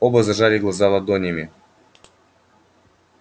оба зажали глаза ладонями